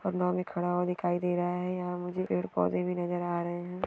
और नाव में खडा हुआ दिखाई दे रहा है यहा मुझे पेड पौधें भी नजर आ रहे है।